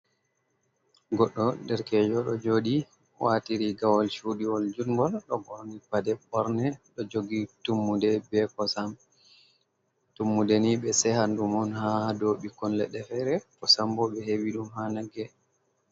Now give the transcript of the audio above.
Goɗɗo derkejo ɗo joɗi wati rigawol cuɗiwol jungol, ɗo ɓorni paɗe ɓorne, ɗo jogi tummude be kosam. Tummude ni ɓe sehan ɗum on haa dow ɓikkon leɗɗe fere, kosam bo ɓe heɓi ɗum haa nagge.